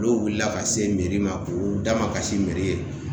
N'o wulila ka se ma k'u da ma kasi ye.